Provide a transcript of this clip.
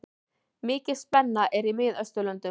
Mikil spenna er í Miðausturlöndum.